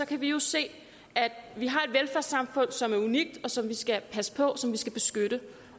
kan vi jo se at vi har et velfærdssamfund som er unikt og som vi skal passe på som vi skal beskytte